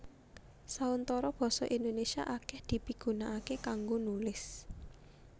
Sauntara basa Indonésia akèh dipigunakaké kanggo nulis